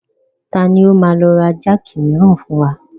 Tani ó máa lọ ra jáàkì miran wá fún wa?